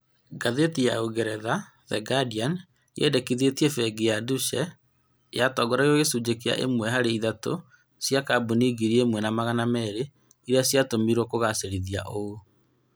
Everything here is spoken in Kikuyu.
Ngathĩti ya Ūngeretha The Guardian, yendekithĩtie bengi ya Deutsche yatongoragia gĩcunjĩ kĩa ĩmwe harĩ ithatũ cĩa kambuni ngiri imwe na magana meerĩ iria cia tũmĩrirwo kũgacerithia ũũ